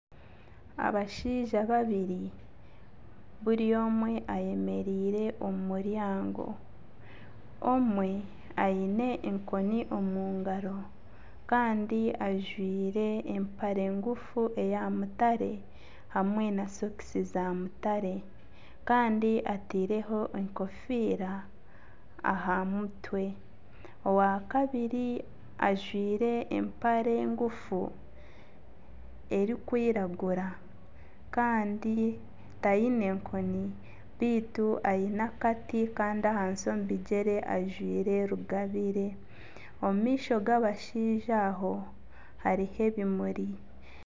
Abashaija babiri buri omwe ayemereire omu muryango , omwe aine enkoni Omungaro Kandi ajwire empare ngufu eya mutare hamwe na sokisi za mutare Kandi atiireho enkofiira aha mutwe. Owa kabiri ajwire empare ngufu erikwiragura Kandi Kandi tayine enkoni baitu aine akati Kandi ahansi omu bigyere ajwire rugabire. Omu maisho g'abashaija aho hariho ebimuri.